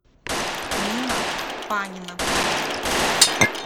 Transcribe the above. нина панина